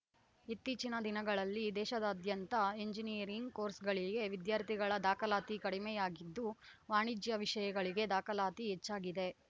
ಇತ್ತೀಚಿನ ದಿನಗಳಲ್ಲಿ ದೇಶದಾದ್ಯಂತ ಎಂಜಿನಿಯರಿಂಗ್‌ ಕೋರ್ಸ್‌ಗಳಿಗೆ ವಿದ್ಯಾರ್ಥಿಗಳ ದಾಖಲಾತಿ ಕಡಿಮೆಯಾಗಿದ್ದು ವಾಣಿಜ್ಯ ವಿಷಯಗಳಿಗೆ ದಾಖಲಾತಿ ಹೆಚ್ಚಾಗಿದೆ